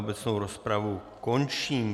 Obecnou rozpravu končím.